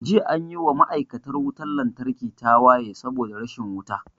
Jiya anyi wa ma'aikatan wutan lantarki tawaye saboda rashin wuta